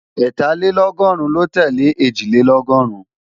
Ẹ́tàlélọ́gọ́rùn ló tẹ́lẹ̀ Ẹ̀jìlélọ́gọ́rùn